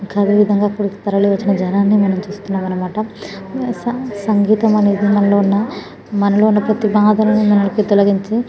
ఇక్కడ కరల విధము గ మనము ఇక్కడ జనాలకు మనము చుస్తునది ఇక్కడ సగితము అనేది మనకు అని బడాలని తొలగించి .